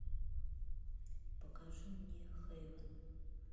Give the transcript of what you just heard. покажи мне хейвен